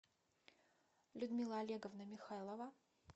людмила олеговна михайлова